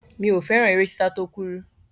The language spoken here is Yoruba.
Mi ò fẹ́ràn eré sísá tó kúrú.